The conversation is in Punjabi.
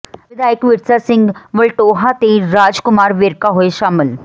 ਵਿਧਾਇਕ ਵਿਰਸਾ ਸਿੰਘ ਵਲਟੋਹਾ ਤੇ ਰਾਜ ਕੁਮਾਰ ਵੇਰਕਾ ਹੋਏ ਸ਼ਾਮਲ